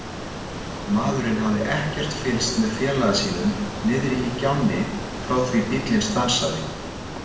Maðurinn hafði ekkert fylgst með félaga sínum niðri í gjánni frá því bíllinn stansaði.